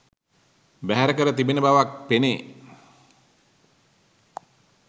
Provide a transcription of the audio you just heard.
බැහැර කර තිබෙන බවක් පෙනේ.